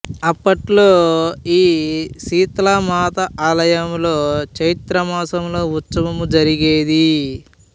అప్పట్లో ఈ సిత్లా మాత ఆలయంలో చైత్ర మాసంలో ఉత్సవం జరిగేది